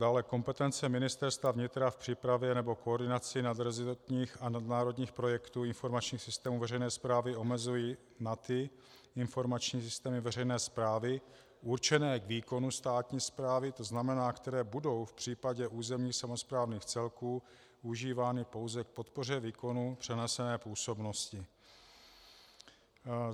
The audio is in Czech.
Dále kompetence Ministerstva vnitra v přípravě nebo koordinaci nadrezortních a nadnárodních projektů informačních systémů veřejné správy omezují na ty informační systémy veřejné správy určené k výkonu státní správy, to znamená, které budou v případě územních samosprávných celků užívány pouze k podpoře výkonu přenesené působnosti.